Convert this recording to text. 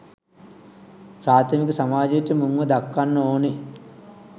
ප්‍රාථමික සමාජයට මුන්ව දක්කන්න ඕනේ.